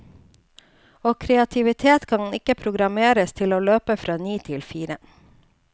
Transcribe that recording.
Og kreativitet kan ikke programmeres til å løpe fra ni til fire.